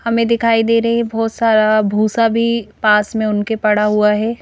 हमें दिखाई दे रही है बहुत सारा भूसा भी पास में उनके पड़ा हुआ है।